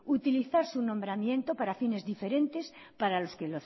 utilizar su nombramiento para fines diferentes